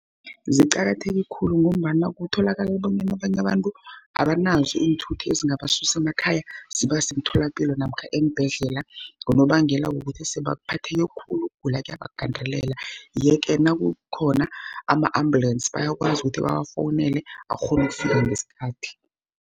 Ziqakatheke khulu, ngombana kutholakala bonyana abanye abantu abanazo iinthuthi, ezingabasusa emakhaya zibase emtholapilo, namkha eembhedlela. Ngonobangela wokuthi sebaphatheke khulu ukugula kuyabagandelela. Yeke nakukhona ama-ambulensi, bayakwazi ukuthi bawafowunele akghone ukufika ngesikhathi.